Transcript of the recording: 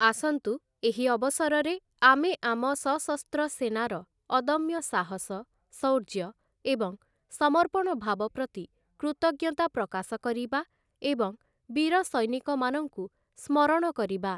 ଆସନ୍ତୁ, ଏହି ଅବସରରେ ଆମେ ଆମ ସଶସ୍ତ୍ର ସେନାର ଅଦମ୍ୟ ସାହସ, ଶୌର୍ଯ୍ୟ ଏବଂ ସମର୍ପଣ ଭାବ ପ୍ରତି କୃତଜ୍ଞତା ପ୍ରକାଶ କରିବା ଏବଂ ବୀର ସୈନିକମାନଙ୍କୁ ସ୍ମରଣ କରିବା ।